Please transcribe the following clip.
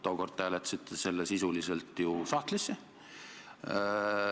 Tookord hääletasite te selle eelnõu sisuliselt ju sahtlisse.